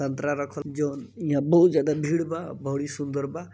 संतरा रखल जॉन यहां बहुत ज्यादा भीड़ बा बड़ी सुंदर बा।